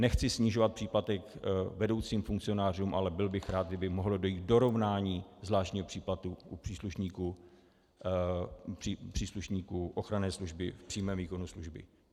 Nechci snižovat příplatek vedoucím funkcionářům, ale byl bych rád, kdyby mohlo dojít k dorovnání zvláštního příplatku u příslušníků ochranné služby v přímém výkonu služby.